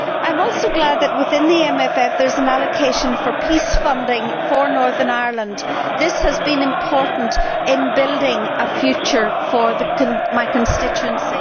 I am also glad that within the MFF there is an allocation for peace funding for Northern Ireland. This has been important in building a future for my constituency.